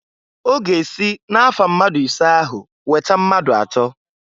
Ọ ga-esi na-afa mmadụ isee ahụ weta mmadụ atọọ.